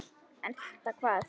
Elta hvað?